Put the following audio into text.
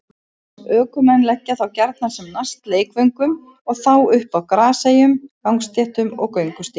Ökumenn leggja þá gjarnan sem næst leikvöngum og þá upp á graseyjum, gangstéttum og göngustígum.